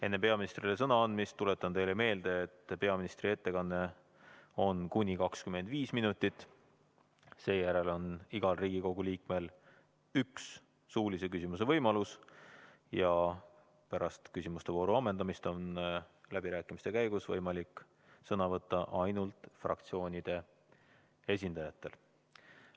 Enne peaministrile sõna andmist tuletan teile meelde, et peaministri ettekanne kestab kuni 25 minutit, seejärel on igal Riigikogu liikmel üks suulise küsimuse võimalus ja pärast küsimustevooru ammendamist on läbirääkimiste käigus võimalik sõna võtta ainult fraktsioonide esindajatel.